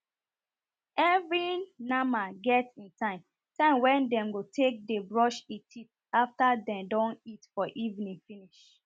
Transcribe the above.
every nama get e time time wen dem take dey brush e teeth after den don eat for evening finish